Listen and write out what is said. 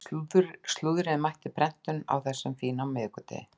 Slúðrið er mætt úr prentun á þessum fína miðvikudegi.